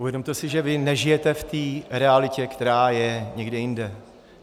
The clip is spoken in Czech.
Uvědomte si, že vy nežijete v té realitě, která je někde jinde.